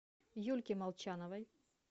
юльке молчановой